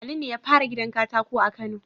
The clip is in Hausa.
Ali ne yafara gidan katako a kano